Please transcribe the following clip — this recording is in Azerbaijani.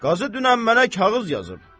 Qazı dünən mənə kağız yazıb.